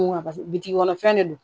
Paseke bitigi kɔnɔ fɛn ne don